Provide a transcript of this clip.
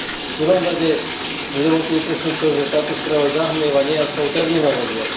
V druhom rade mi dovoľte upresniť to, že táto správa zahmlieva nejasnou terminológiou.